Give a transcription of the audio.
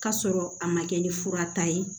K'a sɔrɔ a ma kɛ ni fura ta ye